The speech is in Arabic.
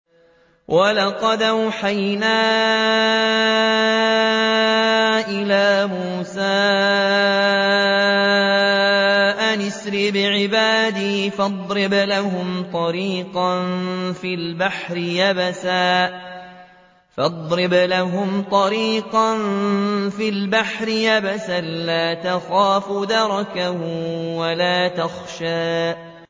وَلَقَدْ أَوْحَيْنَا إِلَىٰ مُوسَىٰ أَنْ أَسْرِ بِعِبَادِي فَاضْرِبْ لَهُمْ طَرِيقًا فِي الْبَحْرِ يَبَسًا لَّا تَخَافُ دَرَكًا وَلَا تَخْشَىٰ